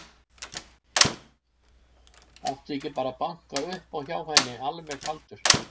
Átti ég ekki bara að banka upp á hjá henni alveg kaldur?